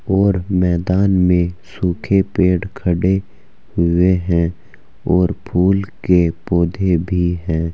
और मैदान में सूखे पेड़ खड़े हुए हैं और फूल के पौधे भी हैं।